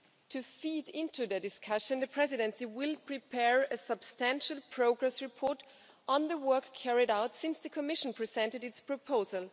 To feed into the discussion, the Presidency will prepare a substantial progress report on the work carried out since the Commission presented its proposal.